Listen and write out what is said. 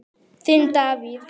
Þinn Davíð.